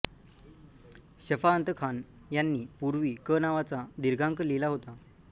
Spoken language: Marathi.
शफाअतखान यांनी पूर्वी क नावाचा दीर्घांक लिहिला होता